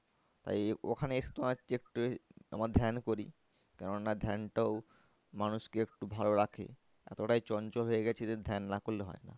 তাই ওখানে এসে তোমার তোমার ধ্যান করি কেন না ধ্যানটাও মানুষকে একটু ভালো রাখে এতটাই চঞ্চল হয়ে গেছে যে ধ্যান না করলে হয় না।